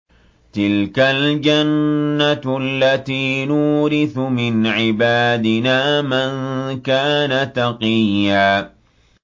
تِلْكَ الْجَنَّةُ الَّتِي نُورِثُ مِنْ عِبَادِنَا مَن كَانَ تَقِيًّا